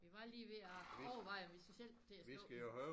Vi var lige ved at overveje om vi så selv skulle til at slukke den